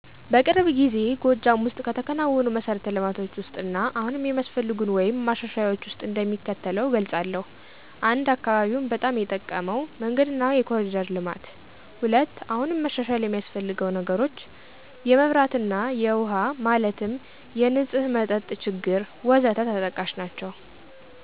በቅርብ ጊዜ ጎጃም ወስጥ ከተከናወኑ መሠረት ልማቶች ውስጥ እና አሁንም የሚያስፈልጉን ወይም ማሻሻያዎች ውስጥ እንደሚከተለው እገልፃለሁ። 1, አካባቢውን በጣም የጠቀመው፦ መንገድና የኮሪደር ልማት። 2, አሁንም መሻሻል የሚስፈልገው ነገሮች፦ የመብራት እና የውሃ ማለትም የነፅህ መጠጥ ችግር...... ወዘተ ተጠቃሽ ናችው።